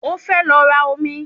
Mo fẹ́ lọ ra omi